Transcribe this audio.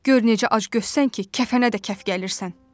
Gör necə az göstərsən ki, kəfənə də kəf gəlirsən.